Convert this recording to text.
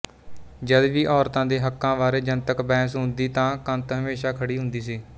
ਜਦ ਵੀ ਔਰਤਾਂ ਦੇ ਹੱਕਾਂ ਬਾਰੇ ਜਨਤਕ ਬਹਿਸ ਹੁੰਦੀ ਤਾਂ ਕੰਤ ਹਮੇਸ਼ਾ ਖੜ੍ਹੀ ਹੁੰਦੀ ਸੀ